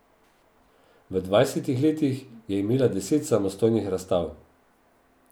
V dvajsetih letih je imela deset samostojnih razstav.